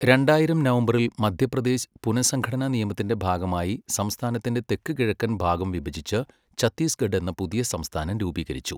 രണ്ടായിരം നവംബറിൽ മധ്യപ്രദേശ് പുനഃസംഘടനാ നിയമത്തിന്റെ ഭാഗമായി സംസ്ഥാനത്തിന്റെ തെക്കുകിഴക്കൻ ഭാഗം വിഭജിച്ച് ഛത്തീസ്ഗഡ് എന്ന പുതിയ സംസ്ഥാനം രൂപീകരിച്ചു.